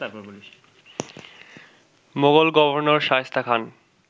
Mughal governor Shaista Khan